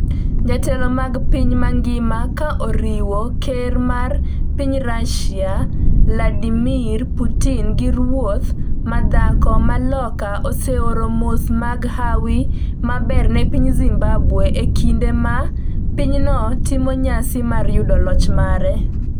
Jotelo mag piny mangima ka oriwo Ker mar piny Russia Vladimir Putin gi Ruoth ma dhako ma Loka oseoro mos mag hawi maber ne piny Zimbabwe e kinde ma pinyno timo nyasi mar yudo loch mare.